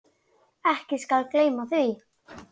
Ekki skal því gleymt.